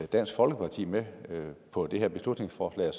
dansk folkeparti med på det her beslutningsforslag